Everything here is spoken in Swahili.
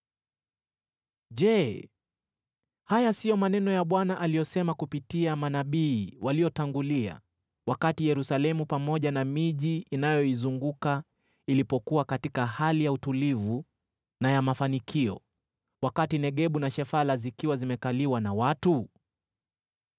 Je, haya sio maneno ya Bwana aliyosema kupitia manabii waliotangulia, wakati Yerusalemu pamoja na miji inayoizunguka ilipokuwa katika hali ya utulivu na ya mafanikio, wakati Negebu na Shefala zikiwa zimekaliwa na watu?’ ”